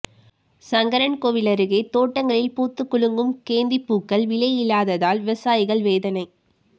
சங்கரன்கோவில் அருகே தோட்டங்களில் பூத்துக்குலுங்கும் கேந்திப்பூக்கள் விலை இல்லாததால் விவசாயிகள் வேதனை